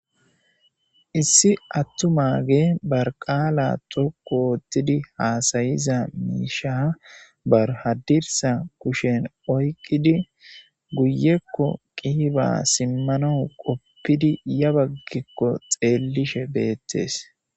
Issi attumage barqaala xoqu oottidi haasayiza miisha barhadirsa kushen oyqqidi guyekko qihiba simmanau qoppidi ya baggikko xeellishe beettees.